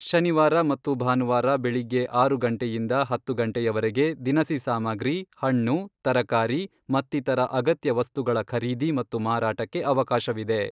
ಶನಿವಾರ ಮತ್ತು ಭಾನುವಾರ ಬೆಳಿಗ್ಗೆ ಆರು ಗಂಟೆಯಿಂದ ಹತ್ತು ಗಂಟೆವರೆಗೆ ದಿನಸಿ ಸಾಮಗ್ರಿ, ಹಣ್ಣು, ತರಕಾರಿ ಮತ್ತಿತರ ಅಗತ್ಯ ವಸ್ತುಗಳ ಖರೀದಿ ಮತ್ತು ಮಾರಾಟಕ್ಕೆ ಅವಕಾಶವಿದೆ.